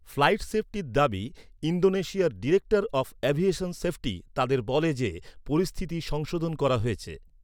Flight সেফটির দাবি, ইন্দোনেশিয়ার ডিরেক্টর অব এভিয়েশন সেফটি তাদের বলে যে, পরিস্থিতি সংশোধন করা হয়েছে।